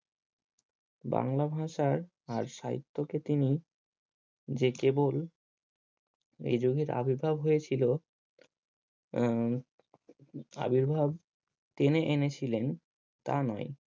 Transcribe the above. বাংলা ভাষায় আর সাহিত্যকে তিনি যে কেবল এই যুগের আবির্ভাব হয়েছিল। আহ আবির্ভাব টেনে এনেছিলেন তা নয়।